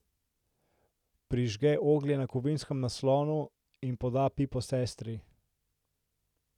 Prižge oglje na kovinskem naslonu in poda pipo sestri.